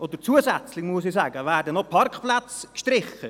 Zusätzlich werden noch Parkplätze gestrichen.